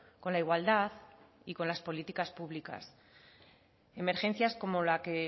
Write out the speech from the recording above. con la igualdad y con las políticas públicas emergencias como las que